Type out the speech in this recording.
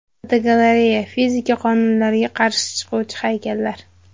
Fotogalereya: Fizika qonunlariga qarshi chiquvchi haykallar.